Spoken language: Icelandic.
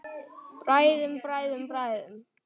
Bræðum, bræðum, bræðum.